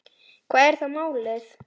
Hvað er þá málið?